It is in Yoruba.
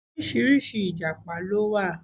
Oríṣiríṣi Ìjàpá ló wà.